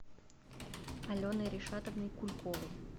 аленой ришатовной кульковой